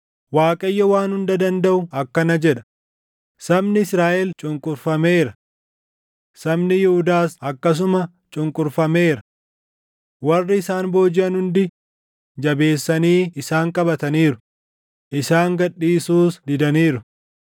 Waaqayyo Waan Hunda Dandaʼu akkana jedha: “Sabni Israaʼel cunqurfameera; sabni Yihuudaas akkasuma cunqurfameera. Warri isaan boojiʼan hundi jabeessanii isaan qabataniiru; isaan gad dhiisuus didaniiru.